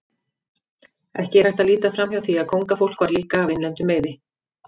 Ekki er hægt að líta framhjá því að kóngafólk var líka af innlendum meiði.